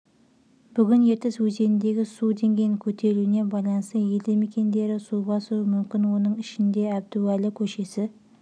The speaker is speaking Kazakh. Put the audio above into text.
бүгін ертіс өзеніндегі су деңгейінің көтерілуіне байланысты елді мекендері су басуы мүмкін оның ішінде әбдуәлі көшесі